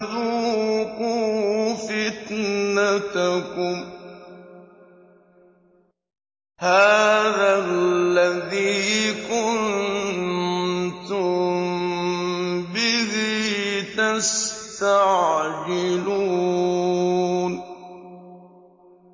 ذُوقُوا فِتْنَتَكُمْ هَٰذَا الَّذِي كُنتُم بِهِ تَسْتَعْجِلُونَ